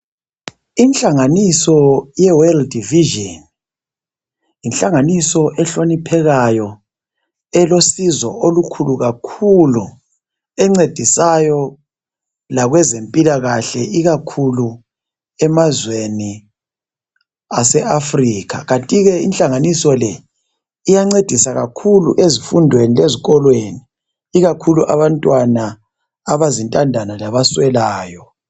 Inhlanganiso yeWorld Vision, yinhlanganiso ehloniphekayo, elosizo, olukhulu kakhulu!. Encedisayo lakwezempilakahle, ikakhulu emazweni aseAfrica. Inhlanganiso le iyancedisa kakhulu ezifundweni lasezikolweni. Ikakhulu abantwana abazintandane, labaswelayo.